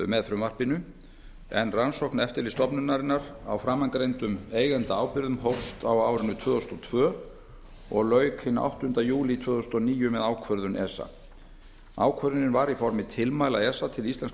með frumvarpinu en rannsókn eftirlitsstofnunarinnar á framangreindum eigendaábyrgðum hófst á árinu tvö þúsund og tvö og lauk hinn áttunda júlí tvö þúsund og níu með ákvörðun esa ákvörðunin var í formi tilmæla esa til íslenskra